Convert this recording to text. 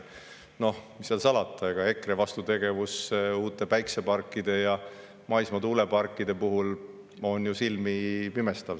Mis seal salata, EKRE vastutegevus uute päikeseparkide ja maismaa tuuleparkide puhul on ju silmipimestav.